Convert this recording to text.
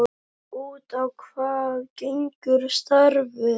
Út á hvað gengur starfið?